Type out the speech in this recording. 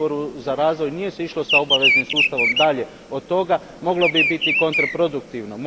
u Odboru za razvoj nije se išlo s obaveznim sustavom dalje od toga, moglo bi biti kontraproduktivno.